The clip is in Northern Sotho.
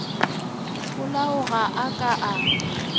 polao ga a ka a